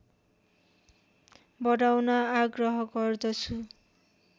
बढाउन आग्रह गर्दछु